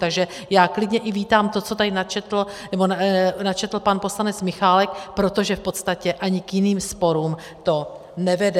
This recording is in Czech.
Takže já klidně i vítám to, co tady načetl pan poslanec Michálek, protože v podstatě ani k jiným sporům to nevede.